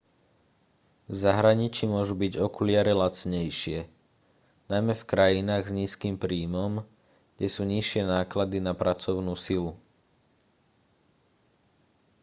v zahraničí môžu byť okuliare lacnejšie najmä v krajinách s nízkym príjmom kde sú nižšie náklady na pracovnú silu